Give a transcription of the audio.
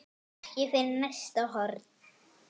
Ekki fyrir næsta horn.